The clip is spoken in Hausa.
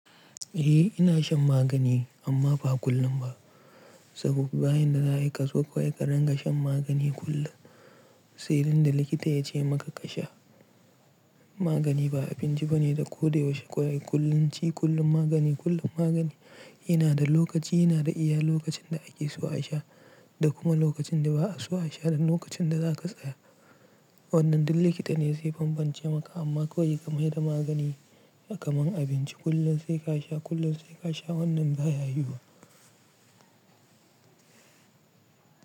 Eh ina shan magani amma ba kullum ba. Saboda bayan da za'a yi kazo kawai ka rinka shan magani kullum. Sai inda likita ya ce maka ka sha magani ba abinci ba ne da ko da yaushe kawai kullun ci. Kullum magani, kullum magani, yana da lokaci, yana da iya lokacin da ake so a sha da kuma lokacin da ba'a so a sha nan lokacin da za ka tsaya. Wannan duk likita ne zai bambance maka amma kawai ka mai da magani kamar abinci. Kullum sai ka sha, kullum sai ka sha wannan ba ya yu wa.